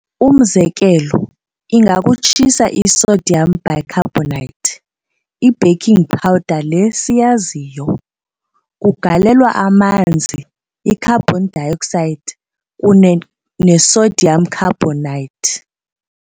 Umzekelo ingakukutshisa i-sodium bicarbonate, i-baking powder le siyaziyo. kugalelwa amanzi, i-carbon dioxide, kunye nesodium carbonate.